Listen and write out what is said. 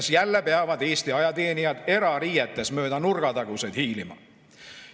Kas jälle peavad Eesti ajateenijad erariietes mööda nurgataguseid hiilima?